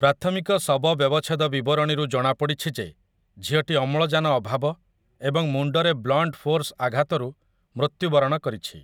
ପ୍ରାଥମିକ ଶବ ବ୍ୟବଚ୍ଛେଦ ବିବରଣୀରୁ ଜଣାପଡ଼ିଛି ଯେ ଝିଅଟି ଅମ୍ଳଜାନ ଅଭାବ ଏବଂ ମୁଣ୍ଡରେ 'ବ୍ଲଣ୍ଟ୍ ଫୋର୍ସ୍' ଆଘାତରୁ ମୃତ୍ୟୁ ବରଣ କରିଛି ।